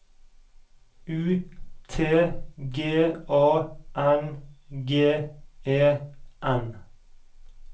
U T G A N G E N